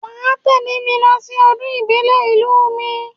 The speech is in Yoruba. Wà á tẹ́lẹ̀ mi lọ sí ọdún ìbílẹ̀ ìlú mi.